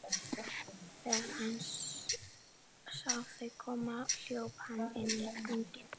Þegar hann sá þau koma hljóp hann inn göngin.